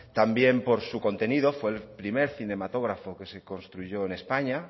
también por su contenido fue el primer cinematógrafo que se construyó en españa